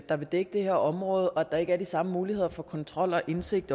der vil dække det her område og at der ikke er de samme muligheder for kontrol og indsigt